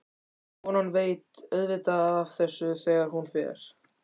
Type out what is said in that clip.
Konan veit auðvitað af þessu þegar hún fer.